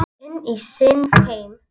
Inn í sinn heim.